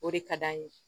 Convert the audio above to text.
O de ka d'an ye